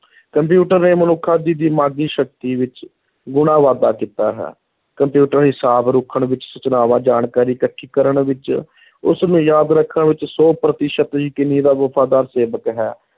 computer ਨੇ ਮਨੁੱਖਾਂ ਦੀ ਦਿਮਾਗੀ ਸ਼ਕਤੀ ਵਿੱਚ ਗੁਣਾ ਵਾਧਾ ਕੀਤਾ ਹੈ, ਕੰਪਿਊਟਰ ਹਿਸਾਬ ਰੱਖਣ ਵਿੱਚ, ਸੂਚਨਾਵਾਂ, ਜਾਣਕਾਰੀ ਇਕੱਠੀ ਕਰਨ ਵਿੱਚ ਉਸ ਨੂੰ ਯਾਦ ਰੱਖਣ ਵਿੱਚ ਸੌ ਪ੍ਰਤੀਸ਼ਤ ਯਕੀਨੀ ਦਾ ਵਫ਼ਾਦਾਰ ਸੇਵਕ ਹੈ,